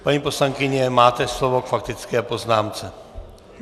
Paní poslankyně, máte slovo k faktické poznámce.